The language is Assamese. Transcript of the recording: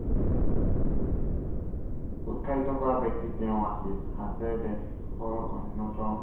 উৎসাহিত কৰা ব্য়ক্তি তেওঁ আছিল। হাজাৰে দেশৰ অন্য়তম, আন্দোলন